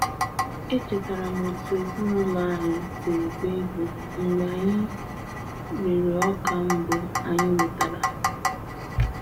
Echetara m otú ezinụlọ anyị siri gbaa egwu mgbe anyị rere ọka mbụ anyị wetara.